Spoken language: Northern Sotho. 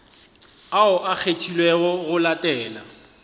ao a kgethilwego go latela